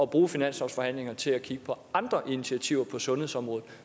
bruge finanslovsforhandlingerne til at kigge på andre initiativer på sundhedsområdet